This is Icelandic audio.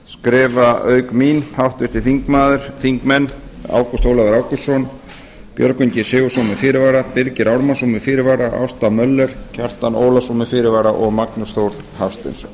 skrifa auk mín háttvirtir þingmenn ágúst ólafur ágústsson björgvin g sigurðsson með fyrirvara birgir ármannsson með fyrirvara ásta möller kjartan ólafsson með fyrirvara og magnús þór hafsteinsson